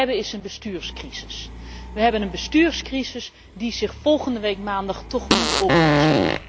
Wat we hebben is een bestuurscrisis! We hebben een bestuurscrisis die zich volgende week maandag toch moet oplossen.